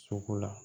Soko la